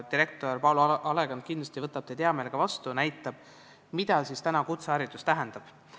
Direktor Paul Alekand võtab teid kindlasti hea meelega vastu ja näitab, mida kutseharidus täna tähendab.